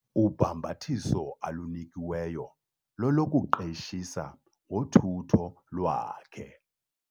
Ubhambathiso alunikiweyo lolokuqeshisa ngothutho lwakhe.